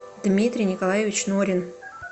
дмитрий николаевич норин